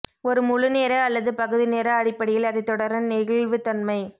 ஒரு முழு நேர அல்லது பகுதி நேர அடிப்படையில் அதை தொடர நெகிழ்வுத்தன்மை